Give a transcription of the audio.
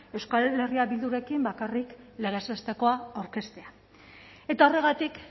euskal herria bildurekin bakarrik legez bestekoa aurkeztea eta horregatik